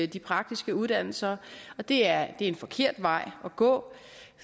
de praktiske uddannelser det er en forkert vej at gå